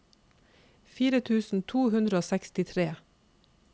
fire tusen to hundre og sekstitre